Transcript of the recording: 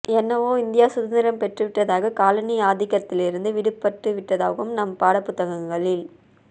என்னவோ இந்தியா சுதந்திரம் பெற்றுவிட்டதாகவும் காலனி ஆதிக்கத்திலிருந்து விடுபட்டு விட்டதாகவும் நம் பாடப்புத்தகங்களில்